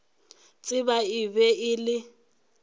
tseba e be e le